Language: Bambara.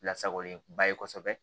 Lasagolenba ye kosɛbɛ